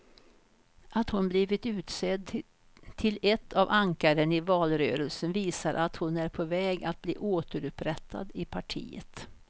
Att hon blivit utsedd till ett av ankaren i valrörelsen visar att hon är på väg att bli återupprättad i partiet.